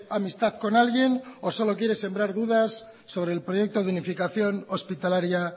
amistad con alguien o solo quiere sembrar dudas sobre el proyecto de unificación hospitalaria